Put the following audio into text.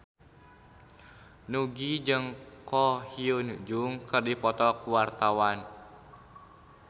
Nugie jeung Ko Hyun Jung keur dipoto ku wartawan